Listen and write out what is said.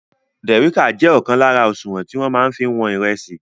Dìrícà jẹ́ ọ̀kan lára òṣùwọ̀n tí wọ́n máa fí ń wọn ìrẹsì.